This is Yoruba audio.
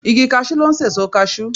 Igi kasú ló n sèso kasú